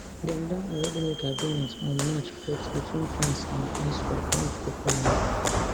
dem don already make agreement on march fourth between france and iswap not boko haram